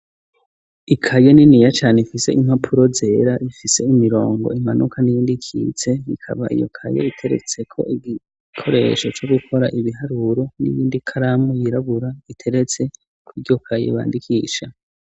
Ikaye niniya cane ifise impapuro zera, ifise imirongo imanuka n'iyindi ikitse, ikaba iyo kaye iteretseko igikoresho co gukora ibiharuro n'iyindi karamu yirabura iteretse kw'iryo kaye, bandikisha.